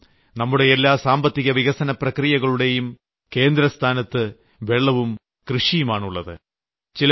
കാരണം നമ്മുടെ എല്ലാ സാമ്പത്തിക വികസന പ്രക്രിയകളുടെയും കേന്ദ്രസ്ഥാനത്ത് വെള്ളവും കൃഷിയുമാണുള്ളത്